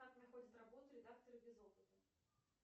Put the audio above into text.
как находят работу редакторы без опыта